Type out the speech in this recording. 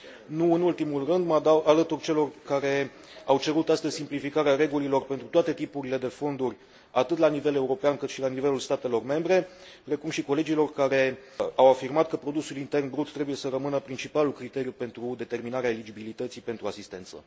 Nu în ultimul rând, mă alătur celor care au cerut astăzi simplificarea regulilor pentru toate tipurile de fonduri, atât la nivel european, cât și la nivelul statelor membre, precum și colegilor care au afirmat că produsul intern brut trebuie să rămână principalul criteriu pentru determinarea eligibilității pentru asistență.